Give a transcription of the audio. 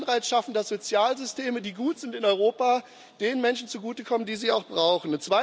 Wir sollten Anreize schaffen, dass Sozialsysteme, die gut sind in Europa, den Menschen zugutekommen, die sie brauchen.